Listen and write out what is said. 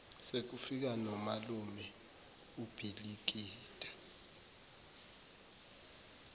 sekufike nomalume ubhilikida